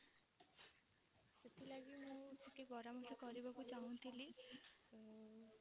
ସେଥିଲାଗି ମୁଁ ଟିକେ ପରାମର୍ଶ କରିବାକୁ ଚାହୁଁଥିଲି ଉଁ